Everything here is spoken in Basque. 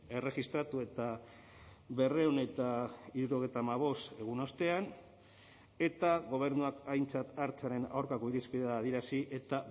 erregistratu eta berrehun eta hirurogeita hamabost egun ostean eta gobernuak aintzat hartzearen aurkako irizpidea adierazi eta